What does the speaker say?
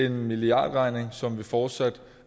en milliardregning som vi fortsat